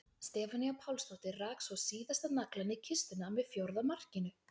Stefanía Pálsdóttir rak svo síðasta naglann í kistuna með fjórða markinu.